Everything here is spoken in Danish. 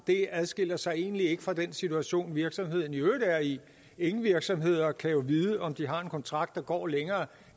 det adskiller sig egentlig ikke fra den situation virksomheden i øvrigt er i ingen virksomheder kan jo vide om de har en kontrakt der går længere